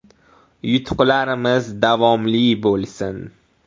Yutuqlarimiz davomli bo‘lsin.